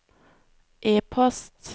e-post